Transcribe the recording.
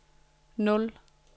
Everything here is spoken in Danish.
nul